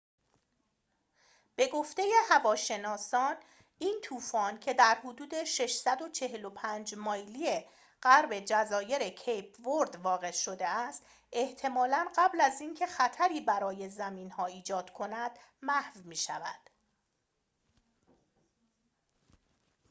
به گفته هواشناسان، این طوفان، که در حدود 645 مایلی 1040 کیلومتری غرب جزایر کیپ ورد واقع شده است، احتمالاً قبل از اینکه خطری برای زمین‌ها ایجاد کند محو می‌شود